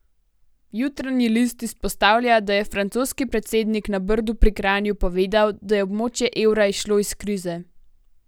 Jutranji list izpostavlja, da je francoski predsednik na Brdu pri Kranju povedal, da je območje evra izšlo iz krize.